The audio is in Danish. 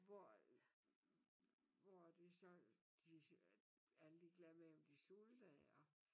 Hvor hvor det så de er ligeg lade med at de sulter eller